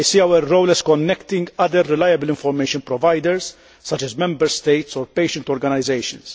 I see our role as connecting other reliable information providers such as Member States or patient organisations.